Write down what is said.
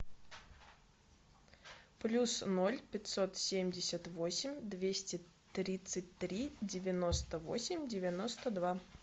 плюс ноль пятьсот семьдесят восемь двести тридцать три девяносто восемь девяносто два